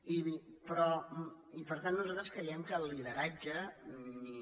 i per tant nosaltres creiem que el lideratge ni